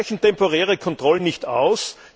Da reichen temporäre Kontrollen nicht aus.